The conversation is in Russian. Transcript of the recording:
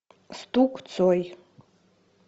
стук цой